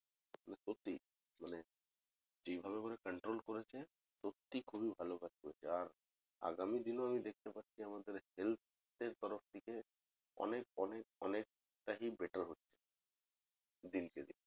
মানে যেইভাবে ওরা control করেছে সত্যিই খুব ভালো কাজ করেছে আর আগামী দিনেও আমি দেখতে পাচ্ছি আমাদের health এর তরফ থেকে অনেক অনেক অনেকটা ই better হচ্ছে দিন কে দিন